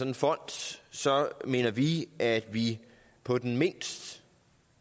en fond mener vi at vi på den mindst